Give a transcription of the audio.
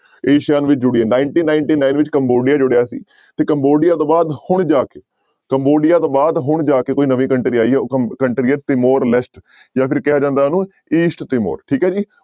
ASEAN ਵਿੱਚ ਜੁੜੀ ਹੈ nineteen-ninety-nine ਵਿੱਚ ਕੰਬੋਡੀਆ ਜੁੜਿਆ ਸੀ ਤੇ ਕੰਬੋਡੀਆ ਤੋਂ ਬਾਅਦ ਹੁਣ ਜਾ ਕੇ ਕੰਬੋਡੀਆ ਤੋਂ ਬਾਅਦ ਹੁਣ ਜਾ ਕੇ ਕੋਈ ਨਵੀਂ country ਆਈ ਹੈ ਕੰ country ਹੈ ਤਿਮੋਰ ਲੈਸਟ ਜਾਂ ਫਿਰ ਕਿਹਾ ਜਾਂਦਾ ਉਹਨੂੰ east ਤਿਮੋਰ ਠੀਕ ਹੈ ਜੀ।